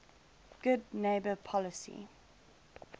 good neighbor policy